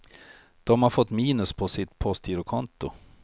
De har fått minus på sitt postgirokonto.